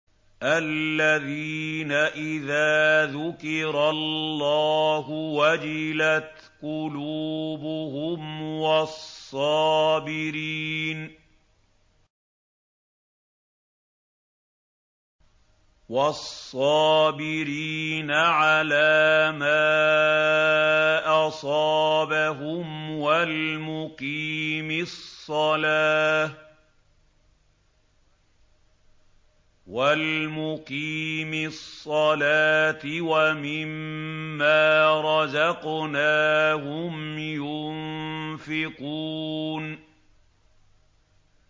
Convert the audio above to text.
الَّذِينَ إِذَا ذُكِرَ اللَّهُ وَجِلَتْ قُلُوبُهُمْ وَالصَّابِرِينَ عَلَىٰ مَا أَصَابَهُمْ وَالْمُقِيمِي الصَّلَاةِ وَمِمَّا رَزَقْنَاهُمْ يُنفِقُونَ